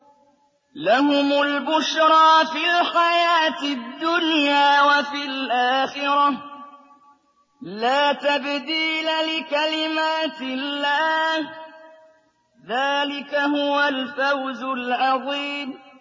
لَهُمُ الْبُشْرَىٰ فِي الْحَيَاةِ الدُّنْيَا وَفِي الْآخِرَةِ ۚ لَا تَبْدِيلَ لِكَلِمَاتِ اللَّهِ ۚ ذَٰلِكَ هُوَ الْفَوْزُ الْعَظِيمُ